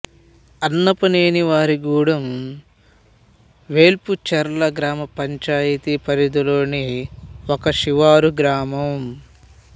అన్నపనేనివారిగూడెం వేల్పుచర్ల గ్రామ పంచాయతీ పరిధిలోని ఒక శివారు గ్రామం